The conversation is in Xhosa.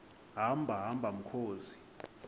hamba hamba mkhozi